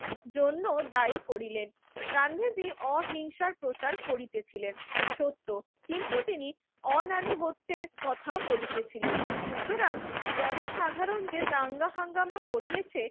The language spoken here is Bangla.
জন্য দায়ী করিলেন। গান্ধীজি অহিংসার প্রচার করিতেছিলেন সত্য। কিন্তু তিনি অনানুগত্যের কথাও বলিতেছিলেন। সুতরাং জনসাধারণ যে দাঙ্গা হাঙ্গামা করিয়েছে